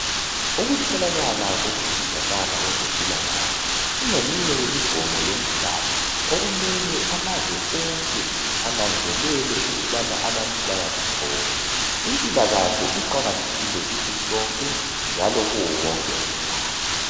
ukutholakala kokusizakale kwezempilakahle kungeminye yemigomo yomhlaba okumele amazwe onke ananzelele ukubana abantu bayakuthola impilakahle iqakathekile kithi sonke njalo kuwo wonke umhlaba